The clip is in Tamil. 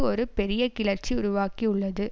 ஒரு பெரிய கிளர்ச்சி உருவாக்கியுள்ளது